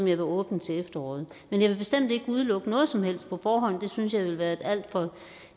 jeg vil åbne til efteråret men jeg vil bestemt ikke udelukke noget som helst på forhånd det synes jeg ville være et alt for